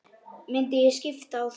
Myndi ég skipta á þeim?